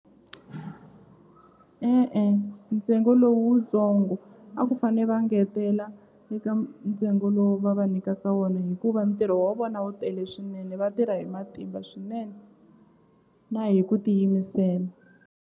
E-e ntsengo lowutsongo a ku fane va ngetela eka ntsengo lowu va va nikaka wona hikuva ntirho wa vona wu tele swinene vatirha hi matimba swinene na hi ku tiyimisela.